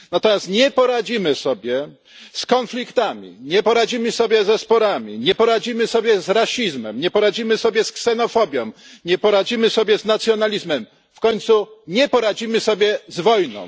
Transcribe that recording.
Natomiast nie poradzimy sobie z konfliktami, nie poradzimy sobie ze sporami, nie poradzimy sobie z rasizmem, nie poradzimy sobie z ksenofobią, nie poradzimy sobie z nacjonalizmem, w końcu nie poradzimy sobie z wojną.